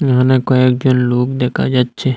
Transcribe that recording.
এখানে কয়েকজন লোক দেকা যাচ্ছে।